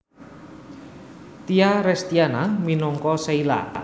Tya Restyana minangka Sheila